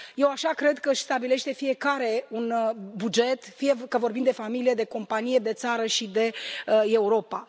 Eu așa cred că își stabilește fiecare un buget, fie că vorbim de familie, de companie, de țară și de Europa.